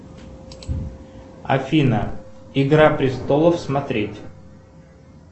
афина игра престолов смотреть